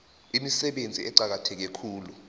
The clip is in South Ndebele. imisebenzi eqakatheke khulu